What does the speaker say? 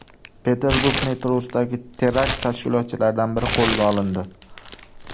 Peterburg metrosidagi terakt tashkilotchilaridan biri qo‘lga olindi.